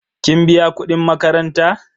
kin biya kudin makaranta?